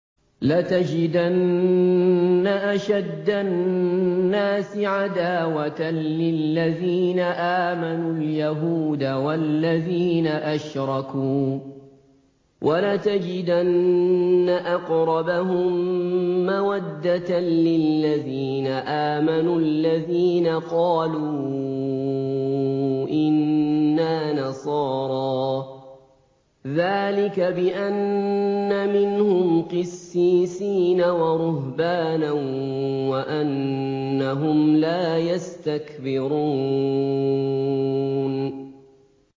۞ لَتَجِدَنَّ أَشَدَّ النَّاسِ عَدَاوَةً لِّلَّذِينَ آمَنُوا الْيَهُودَ وَالَّذِينَ أَشْرَكُوا ۖ وَلَتَجِدَنَّ أَقْرَبَهُم مَّوَدَّةً لِّلَّذِينَ آمَنُوا الَّذِينَ قَالُوا إِنَّا نَصَارَىٰ ۚ ذَٰلِكَ بِأَنَّ مِنْهُمْ قِسِّيسِينَ وَرُهْبَانًا وَأَنَّهُمْ لَا يَسْتَكْبِرُونَ